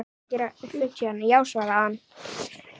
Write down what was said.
Já svarar hann.